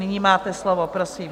Nyní máte slovo, prosím.